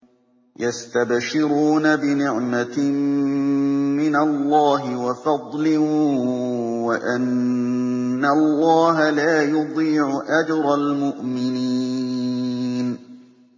۞ يَسْتَبْشِرُونَ بِنِعْمَةٍ مِّنَ اللَّهِ وَفَضْلٍ وَأَنَّ اللَّهَ لَا يُضِيعُ أَجْرَ الْمُؤْمِنِينَ